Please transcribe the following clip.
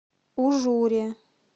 ужуре